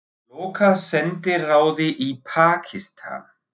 Loka sendiráði í Pakistan